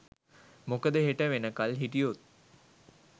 මොකද හෙට වෙනකල් හිටියොත්